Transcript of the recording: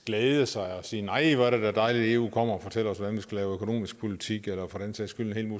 glæde sig og sige nej hvor er det da dejligt at eu kommer og fortæller os hvordan vi skal lave økonomisk politik eller for den sags skyld en